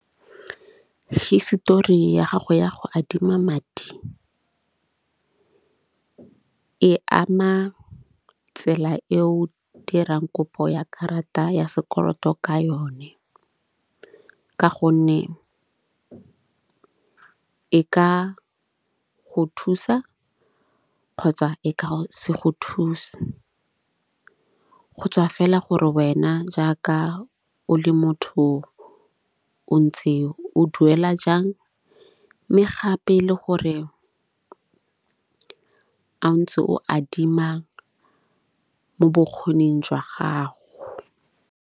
Histori ya gago ya go adima madi e ama tsela e o dirang kopo ya karata ya sekoloto ka yone. Ka gonne e ka go thusa kgotsa e ka se go thuse. Go tswa fela gore wena jaaka o le motho o ntse o duela jang mme gape le gore a ntse o adima mo bokgoning jwa gago.